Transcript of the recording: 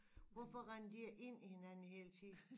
Hvorfor render de ikke ind i hinanden hele tiden